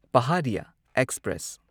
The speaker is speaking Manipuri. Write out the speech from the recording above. ꯄꯍꯥꯔꯤꯌꯥ ꯑꯦꯛꯁꯄ꯭ꯔꯦꯁ